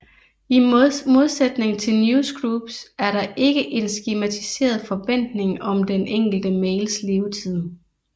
I modsætning til newsgroups er der ikke en skematiseret forventning om den enkelte mails levetid